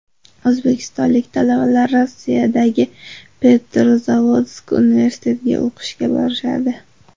O‘zbekistonlik talabalar Rossiyadagi Petrozavodsk universitetiga o‘qishga borishadi.